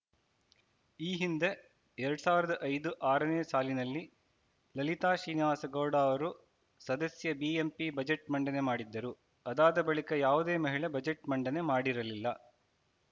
ಈ ಹಿಂದೆ ಎರಡ್ ಸಾವಿರದ ಐದು ಆರನೇ ಸಾಲಿನಲ್ಲಿ ಲಲಿತಾ ಶ್ರೀನಿವಾಸ ಗೌಡ ಅವರು ಸದಸ್ಯೆ ಬಿಎಂಪಿ ಬಜೆಟ್‌ ಮಂಡನೆ ಮಾಡಿದ್ದರು ಅದಾದ ಬಳಿಕ ಯಾವುದೇ ಮಹಿಳೆ ಬಜೆಟ್‌ ಮಂಡನೆ ಮಾಡಿರಲಿಲ್ಲ